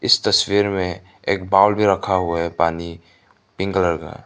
इस तस्वीर में एक बाउल भी रखा हुआ है पानी पिंक कलर का--